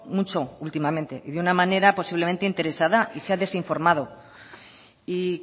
mucho últimamente y de una manera posiblemente interesada y se ha desinformado y